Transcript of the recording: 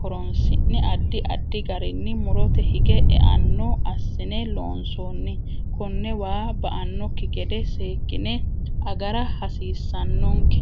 horoonsine addi addi garinni murote hige e'anno asinne loonsooni konne waa ba'anokki gede seekine agara hasiisanonke